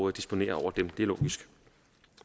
at disponere over dem det er logisk